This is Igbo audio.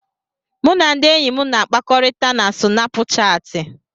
Mụ na ndị enyi m na-akpakọrịta na Sinapuchati.